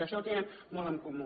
això ho tenen molt en comú